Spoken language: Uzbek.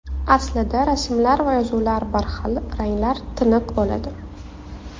Aslida rasmlar va yozuvlar bir xil, ranglar tiniq bo‘ladi.